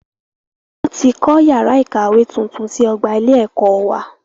Wọn tí kọ́ yàrá ìkàwé tuntun sí ọgbà ilé ẹ̀kọ́ wá.